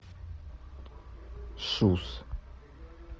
сус